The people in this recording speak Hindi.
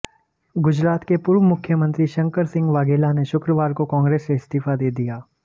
गुजरात के पूर्व मुख्यमंत्री शंकर सिंह वाघेला ने शुक्रवार को कांग्रेस से इस्तीफा दे दिया